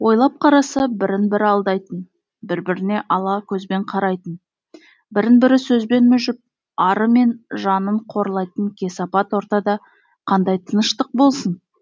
ойлап қараса бірін бірі алдайтын бір біріне ала көзбен қарайтын бірін бірі сөзбен мүжіп ары мен жанын қорлайтын кесепат ортада қандай тыныштық болсын